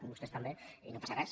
vostès també i no passa res